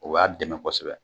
O y'a dɛmɛ kosɛbɛ